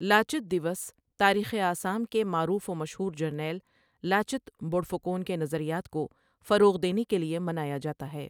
لاچت دیوس تاریخ آسام کے معروف و مشہور جرنیل لاچت بوڑفوکن کے نظریات کو فروغ دینے کے لیے منایا جاتا ہے